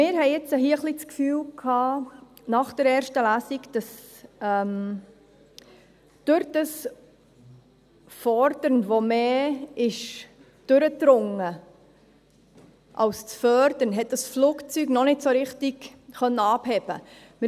Wir hatten jetzt hier nach der ersten Lesung ein wenig das Gefühl, dass durch dieses Fordern, das mehr durchdrang als das Fördern, dieses Flugzeug noch nicht so richtig abheben konnte.